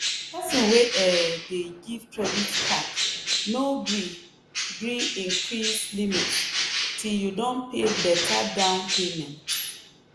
person wey um dey give credit card no gree gree increase limit till you don pay beta down payment.